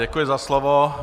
Děkuji za slovo.